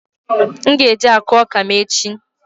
M ga-eje akụ ọka m echi